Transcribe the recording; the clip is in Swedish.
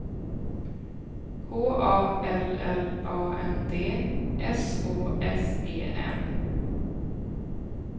H A L L A N D S Å S E N